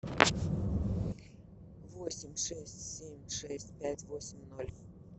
восемь шесть семь шесть пять восемь ноль